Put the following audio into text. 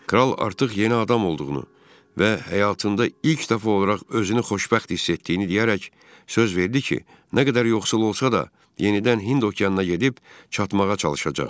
Kral artıq yeni adam olduğunu və həyatında ilk dəfə olaraq özünü xoşbəxt hiss etdiyini deyərək söz verdi ki, nə qədər yoxsul olsa da yenidən Hind okeanına gedib çatmağa çalışacaq.